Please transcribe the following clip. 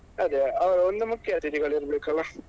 ಅದೇ ಒಂದು ಮುಖ್ಯ ಅತಿಥಿಗಳು ಇರ್ಬೇಕಲ್ಲಾ?